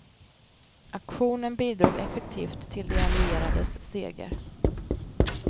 Aktionen bidrog effektivt till de allierades seger.